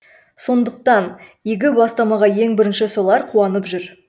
сондықтан игі бастамаға ең бірінші солар қуанып жүр